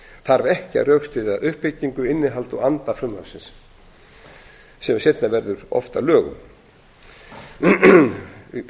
þarf ekki að rökstyðja uppbyggingu innihald og anda frumvarpsins sem seinna verður oft að lögum